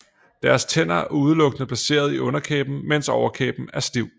Deres tænder er udelukkende placeret i underkæben mens overkæben er stiv